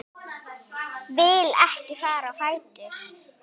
Vil ekki fara á fætur.